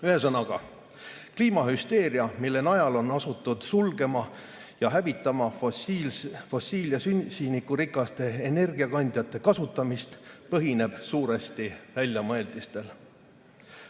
Ühesõnaga, kliimahüsteeria, mille najal on asutud sulgema ja hävitama fossiilsete ja süsinikurikaste energiakandjate kasutamist, põhineb suuresti väljamõeldistel.